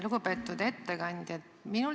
Lugupeetud ettekandja!